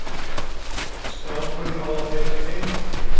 Strákurinn á að heita Tengdi.